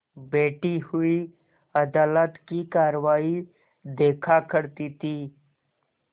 बैठी हुई अदालत की कारवाई देखा करती थी